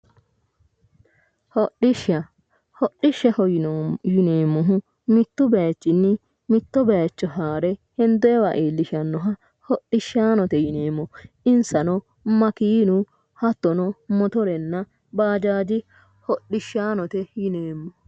Hodhishsha ,hodishshaho yinneemmohu mitu bayichinni mitto bayicho haare hendooniwa iillishanoha hodhishshanote yinneemmo, insano makenu, hattono mottorenna bajaaji hodhishshanote yinneemmo.